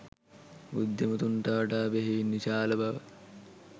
බුද්ධිමතුන්ට වඩා බෙහෙවින් විශාල බව